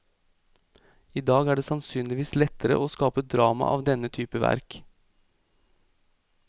Idag er det sannsynligvis lettere å skape drama av denne type verk.